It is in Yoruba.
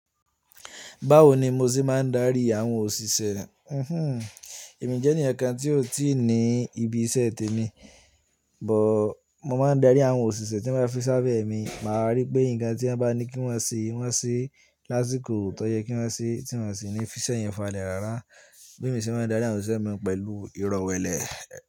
Báwo ni mo ṣe máa ń darí àwọn òṣìṣẹ́? Hihun, èmi jẹ́ ènìyàn kan tí ó ti ní ibi iṣẹ́ tèmi, bọ̀ mo máa ń darí àwọn òṣìṣẹ́ tí wọ́n bá fi sábẹ́ mi. Máa rí pé nǹkan tí wọ́n bá ní kí wọ́n ṣe, wọ́n ṣe. Láṣikò tọ́ yẹ kí wọ́n ṣe tí wọ́n sì ní fi iṣẹ́ yẹn falẹ̀ rárá. Bí èmi ṣe máa ń darí àwọn òṣìṣẹ́ mi pẹ̀lú ìrọ̀wẹ́lẹ́